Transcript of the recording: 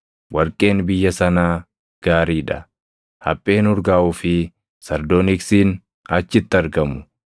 Warqeen biyya sanaa gaarii dha; hapheen urgaaʼuu fi sardooniksiin achitti argamu.